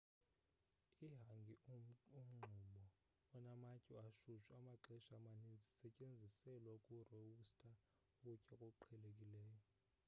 ihangi-umngxumo onamatye ashushu amaxesha amaninzi isetyenziselwa ukurowusta ukutya okuqhelekileyo